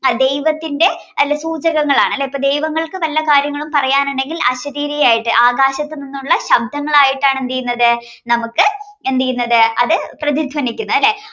ദൈവത്തിന്റെ സൂചകങ്ങളാണ് അല്ലെ അപ്പൊ ദൈവങ്ങൾക്ക് നല്ല കാര്യങ്ങളും പറയാനുണ്ടെങ്കിൽ അശരീരി ആയിട്ട് ആകാശങ്ങളിൽനിന്നുള്ള ശബ്ദങ്ങളായിട്ടാണ് എന്ത് ചെയ്യുന്നത് നമുക്ക് എന്ത് ചെയ്യുന്നത് അത് പ്രധിധ്വനിക്കുന്നത്